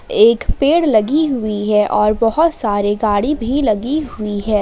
एक पेड़ लगी हुई है और बहुत सारे गाड़ी भी लगी हुई हैं।